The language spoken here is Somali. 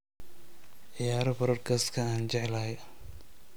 ciyaaro podcast-ka aan jeclahay